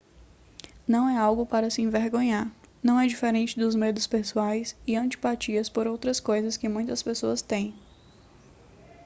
não é algo para se envergonhar não é diferente dos medos pessoais e antipatias por outras coisas que muitas pessoas têm